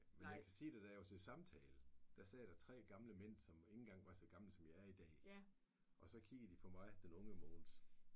Men jeg kan sige dig da jeg var til samtale der sad der 3 gamle mænd som ikke engang var så gamle som jeg er i dag så kiggede de på mig den unge Mogens